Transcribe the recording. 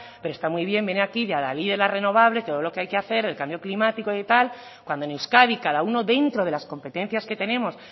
pero está muy bien venir aquí de adalid de las renovables todo lo que hay que hacer el cambio climático de tal cuando en euskadi cada uno dentro de las competencias que tenemos